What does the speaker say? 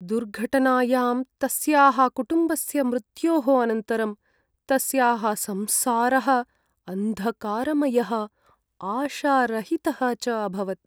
दुर्घटनायां तस्याः कुटुम्बस्य मृत्योः अनन्तरं तस्याः संसारः अन्धकारमयः आशारहितः च अभवत्।